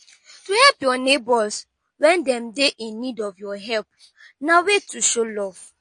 to help your neighbors when dem de in need of your help na way to show love